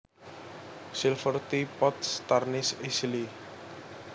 Silver tea pots tarnish easily